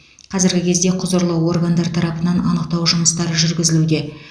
қазіргі кезде құзырлы органдар тарапынан анықтау жұмыстары жүргізілуде